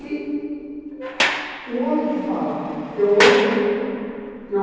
E o homem que fala, eu amo eu